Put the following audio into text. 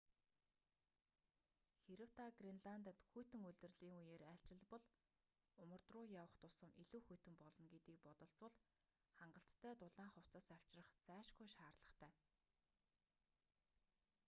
хэрэв та гренландад хүйтэн улирлын үеэр айлчилбал умард руу явах тусам илүү хүйтэн болно гэдгийг бодолцвол хангалттай дулаан хувцас авчрах зайлшгүй шаардлагатай